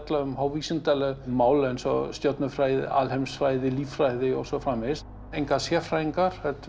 um mál eins og stjörnufræði líffræði og svo framvegis enga sérfræðinga heldur